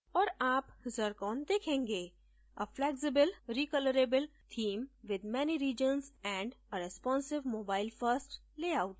और आप zircon देखेंगे a flexible recolorable theme with many regions and a responsive mobile first layout